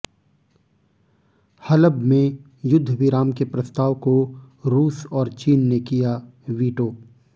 हलब में युद्ध विराम के प्रस्ताव को रूस और चीन ने किया वीटो